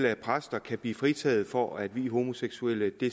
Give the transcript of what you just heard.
at præster kan blive fritaget for at vie homoseksuelle